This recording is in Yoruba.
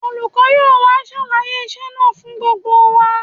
Olùkọ́ yóò wá ṣàlàyé iṣẹ́ náà fún gbogbo wa